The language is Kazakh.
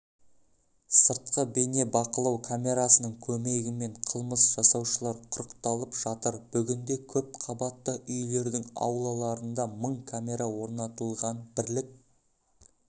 сыртқы бейнебақылау камерасының көмегімен қылмыс жасаушылар құрықталып жатыр бүгінде көпқабатты үйлердің аулаларында мың камера орнатылған бірлік